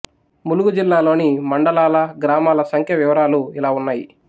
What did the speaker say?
ములుగు జిల్లా లోని మండలాల గ్రామాల సంఖ్య వివరాలు ఇలా ఉన్నాయి